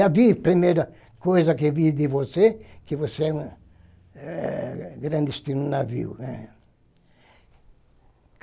Já vi a primeira coisa que vi de você, que você é é clandestino no navio.